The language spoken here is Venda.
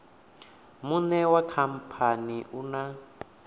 muṋe wa khamphani u na